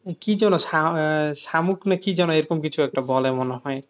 কি যেন শা আহ শামুক না কি যেন এরকম কিছু একটা বলে মনে হয়